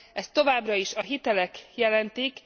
Ezt továbbra is a hitelek jelentik.